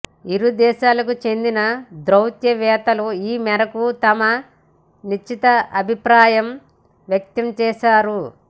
ఇరు దేశాలకు చెందిన దౌత్యవేత్తలు ఈమేరకు తమ నిశ్చితాభిప్రాయం వ్యక్తం చేశారు